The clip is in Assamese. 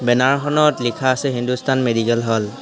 বেনাৰখনত লিখা আছে হিন্দুস্তান মেডিকেল হল ।